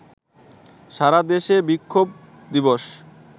সারা দেশে বিক্ষোভ দিবস